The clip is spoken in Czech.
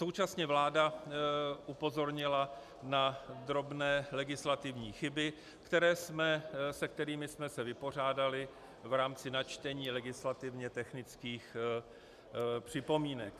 Současně vláda upozornila na drobné legislativní chyby, se kterými jsme se vypořádali v rámci načtení legislativně technických připomínek.